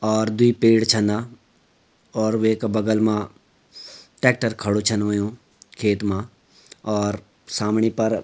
और द्वि पेड़ छन और वेक बगल मा ट्रेक्टर खडू छन हुयुं खेत मा और समणि पर --